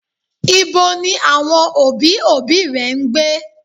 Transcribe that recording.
Ibo ni àwọn òbí, òbí rẹ ń gbé?